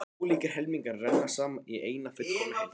Tveir ólíkir helmingar renna saman í eina fullkomna heild.